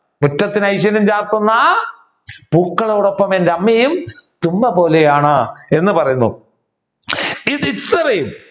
മുറ്റത്തിന് ഐശ്വര്യം ചാർത്തുന്ന പൂക്കളോടോപ്പൊമെൻ അമ്മയും തുമ്പപോലെയാണ് എന്ന് പറയുന്നു